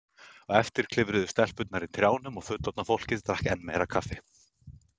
Á eftir klifruðu stelpurnar í trjánum og fullorðna fólkið drakk enn meira kaffi.